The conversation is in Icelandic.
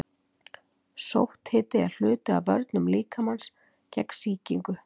Sótthiti er hluti af vörnum líkamans gegn sýkingu.